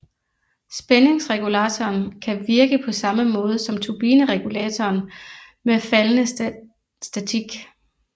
Spændingsregulatoren kan virke på samme måde som turbineregulatoren med faldende statik